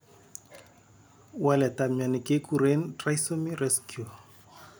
Waletap mioni keguren trisomy rescue.